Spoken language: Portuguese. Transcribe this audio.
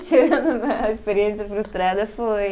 Tirando né, a experiência frustrada foi